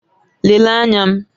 Lelee anya m!